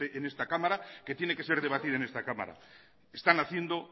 en esta cámara que tiene que ser debatida en esta cámara están haciendo